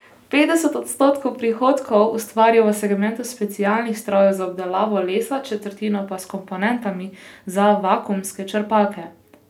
Petdeset odstotkov prihodkov ustvarijo v segmentu specialnih strojev za obdelavo lesa, četrtino pa s komponentami za vakuumske črpalke.